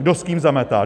Kdo s kým zametá?